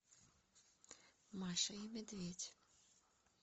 маша и медведь